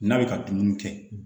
N'a bɛ ka dumuni kɛ